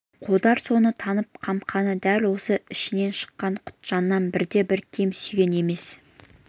қодар соны танып қамқаны дәл өз ішінен шыққан құтжаннан бірде-бір кем сүйген емес